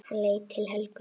Hann leit til Helgu.